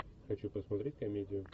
хочу посмотреть комедию